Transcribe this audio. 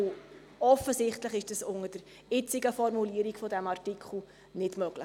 Offensichtlich ist es unter der jetzigen Formulierung des Artikels nicht möglich.